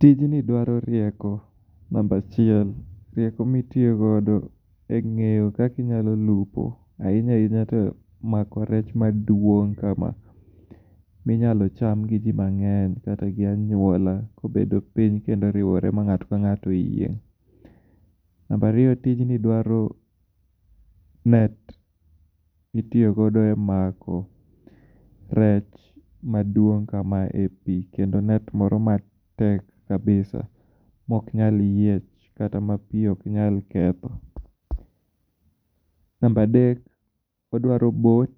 Tijni dwaro rieko namba achiel. Rieko mitiyogodo e ng'eyo kaka inyalo lupo, ahinya ahinya to mako rech maduong' kama. Minyalo cham gi ji mang'eny kata gi anyuola kobedo piny kendo oriwore ma ng'ato ka ng'ato oyieng'. Namba ariyo, tijni dwaro net mitiyogodo e mako rech maduong' kamae e pi kendo net moro matek kabisa mok nyal yiech kata ma pi ok nyal ketho. Namba adek, odwaro boat